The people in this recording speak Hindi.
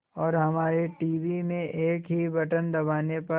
और हमारे टीवी में एक ही बटन दबाने पर